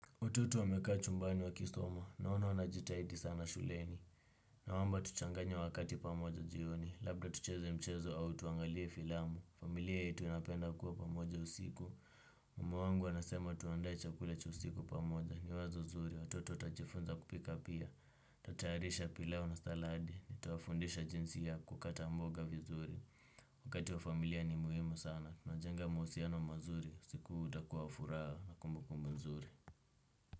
Watoto wamekaa chumbani wakisoma, naona wanajitahidi sana shuleni. Naomba tuchanganye wakati pamoja jioni, labda tucheze mchezo au tuangalie filamu. Familia yetu inapenda kuwa pamoja usiku. Mama wangu anasema tuandae chakula cha usiku pamoja. Ni wazo zuri, watoto watajifunza kupika pia. Tutatayarisha pilau na salad, nitawafundisha jinsi ya kukata mboga vizuri. Wakati wa familia ni muhimu sana unajenga mahusiano mazuri usiku huu utakuwa furaha na kumbukumbu nzuri.